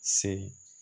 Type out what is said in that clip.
Se